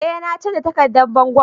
Eh na canza takardan bangon.